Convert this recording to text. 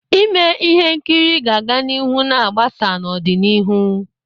Ime ihe nkiri ga-aga n'ihu ma gbasaa n'ọdịnihu.